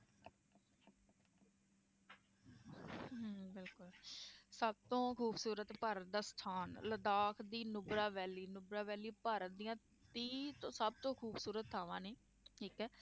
ਸਭ ਤੋਂ ਖ਼ੂਬਸ਼ੂਰਤ ਭਾਰਤ ਦਾ ਸਥਾਨ ਲਦਾਖ ਦੀ ਨੁਬਰਾ valley ਨੁਬਰਾ valley ਭਾਰਤ ਦੀਆਂ ਤੀਹ ਸਭ ਤੋਂ ਖ਼ੂਬਸ਼ੂਰਤ ਥਾਵਾਂ ਨੇ ਠੀਕ ਹੈ।